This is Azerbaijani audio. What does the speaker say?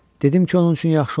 Dedim ki, onun üçün yaxşı olsun.